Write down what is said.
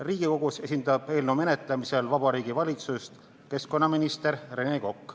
Riigikogus eelnõu menetlemisel esindab Vabariigi Valitsust keskkonnaminister Rene Kokk.